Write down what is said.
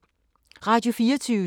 Radio24syv